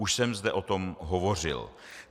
Už jsem zde o tom hovořil.